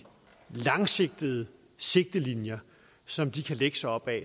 og langsigtede sigtelinjer som de kan lægge sig op ad